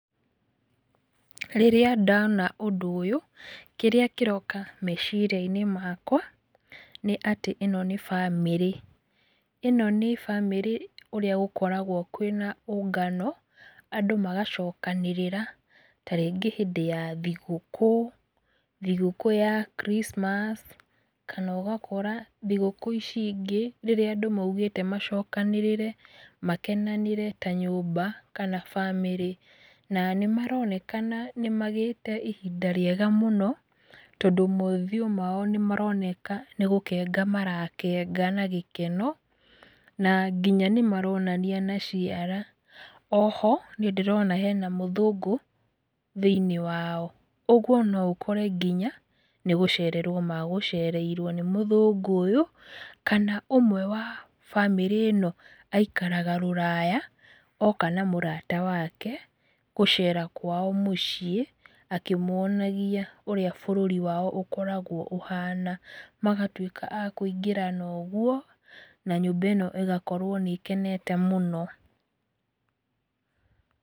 Rĩrĩa ndona ũndũ ũyũ, kĩrĩa kĩroka meciria-inĩ makwa, nĩ atĩ ĩno nĩ bamĩrĩ. Ĩno nĩ bamĩrĩ ũrĩa gũkoragwo kwĩna ũngano, andũ magacokanĩrĩra ta rĩngĩ hĩndĩ ya thigũkũ, thigũkũ ya kiricimaci, kana ũgakora thigũkũ ici ingĩ rĩrĩa andũ maugĩte macokanĩrĩre makenanĩre ta nyũmba, kana bamĩrĩ na nĩ maronekana nĩ magĩte na ihinda rĩega mũno, tondũ mothiũ mao nĩ maroneka nĩ gũkenga marakenga na gĩkeno na nginya nĩ maronania na ciara. Oho nĩ ndĩrona hena mũthũngũ thĩiniĩ wao. Ũguo no ũkore nginya nĩ gũcererwo me gũcereirwo nĩ mũthũngũ ũyũ, kana ũmwe wa bamĩrĩ ĩno aikara rũraya oka na mũrata wake gũcera kwao mũciĩ, akĩmwonagia ũrĩa bũrũri wao ũkoragwo ũhana magatuĩka a kũingĩrana ũguo, na nyũmba ĩno ĩgakorwo nĩ ĩkenete mũno.